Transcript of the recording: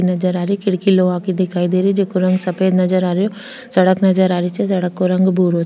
नजर आ रही खिड़की लोहा की दिखाई दे रही खिड़की नजर आ रही जेको रंग सफेद नजर आ रही सड़क नजर आ रही छे सड़क का रंग भूरो --